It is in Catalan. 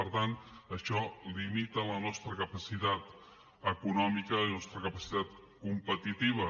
per tant això limita la nostra capacitat econòmica i la nostra capacitat competitiva